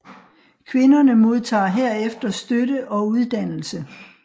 Kvinderne modtager herefter støtte og uddannelse